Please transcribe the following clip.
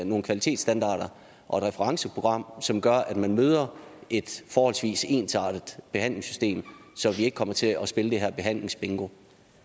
nogle kvalitetsstandarder og et referenceprogram som gør at man mødet et forholdsvis ensartet behandlingssystem så vi ikke kommer til at spille det her behandlingsbingo